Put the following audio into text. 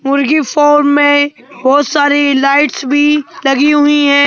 मुर्गी फार्म में बहुत सारी लाइट्स भी लगी हुई है।